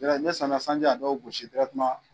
ni samiya sanji y'a dɔw gosi